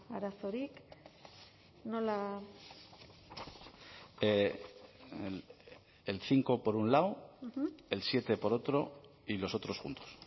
arazorik nola el cinco por un lado el siete por otro y los otros juntos